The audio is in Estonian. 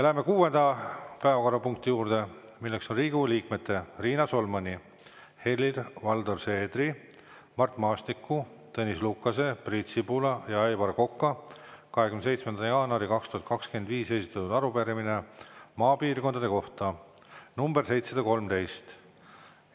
Lähme kuuenda päevakorrapunkti juurde, milleks on Riigikogu liikmete Riina Solmani, Helir-Valdor Seedri, Mart Maastiku, Tõnis Lukase, Priit Sibula ja Aivar Koka 27. jaanuaril 2025 esitatud arupärimine maapiirkondade kohta, nr 713.